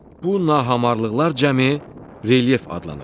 Bu nahamarlıqlar cəmi relyef adlanır.